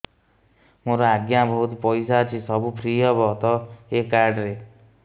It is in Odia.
ମୋର ଆଜ୍ଞା ବହୁତ ପଇସା ଅଛି ସବୁ ଫ୍ରି ହବ ତ ଏ କାର୍ଡ ରେ